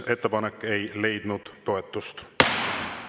Ettepanek ei leidnud toetust.